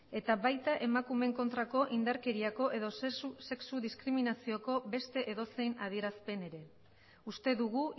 eta baita emakumeen kontrako indarkeriako edo sexu diskriminazioko beste edozein adierazpen ere uste dugu